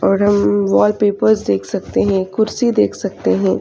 और हम वॉलपेपर्स देख सकते है कुर्सी देख सकते है.